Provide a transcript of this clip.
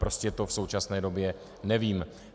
Prostě to v současné době nevím.